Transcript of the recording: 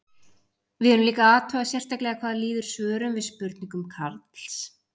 Við erum líka að athuga sérstaklega hvað líður svörum við spurningum Karls.